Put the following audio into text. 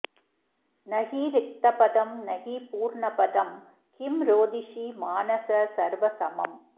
न हि रिक्तपदं न हि पूर्णपदं किं रोदिषि मानस सर्वसमम्